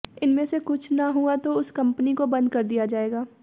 इनमें से कुछ न हुआ तो उस कंपनी को बंद कर दिया जाएगा